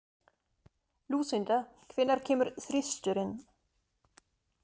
Lúsinda, hvenær kemur þristurinn?